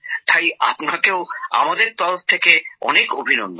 তাই আপনাকে আমাদের তরফ থেকে অভিনন্দন